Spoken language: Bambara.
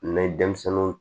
N'an ye denmisɛnninw